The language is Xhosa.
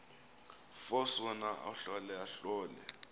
force wona ahlolahlole